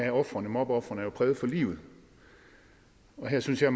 af mobbeofrene er præget for livet og her synes jeg